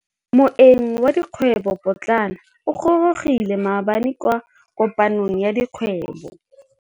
Moêng wa dikgwêbô pôtlana o gorogile maabane kwa kopanong ya dikgwêbô.